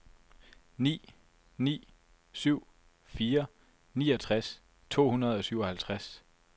ni ni syv fire niogtres to hundrede og syvoghalvtreds